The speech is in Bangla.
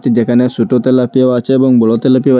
যেখানে ছোট তেলাপিয়াও আছে এবং বড়ো তেলাপিয়াও --